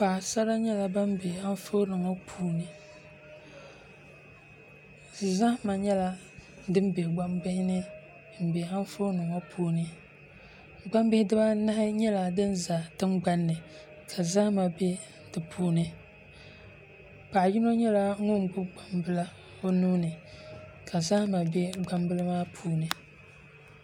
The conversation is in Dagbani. Paɣasara nyɛla bin bɛ Anfooni ŋɔ puuni zahama nyɛla din bɛ gbambihi ni n bɛ Anfooni ŋɔ puuni gbambihi dibaanahi nyɛla din ʒɛ tingbanni ka zahama bɛ di puuni paɣa yino nyɛla ŋun gbubi gbambila o nuuni ka zahama bɛ gbambili maa puuni